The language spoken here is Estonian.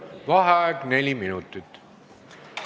Vaheaeg neli minutit.